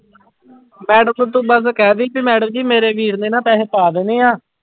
Madam ਨੂੰ ਤੂੰ ਬਸ ਕਹਿ ਦੇਈਂ ਵੀ madam ਜੀ ਮੇਰੇ ਵੀਰ ਨੇ ਨਾ ਪੈਸੇ ਪਾ ਦੇਣੇ ਆਂ।